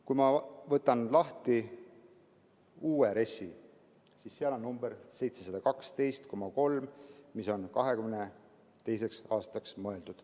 Kui ma võtan lahti uue RES‑i, siis seal on number 712,3, mis on mõeldud 2022. aastaks.